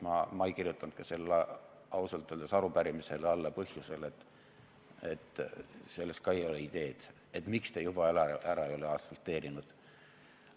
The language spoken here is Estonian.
Ma ei kirjutanud ausalt öeldes arupärimisele alla põhjusel, et selles ka ei ole ideed, miks te juba ära ei ole asfalteerinud.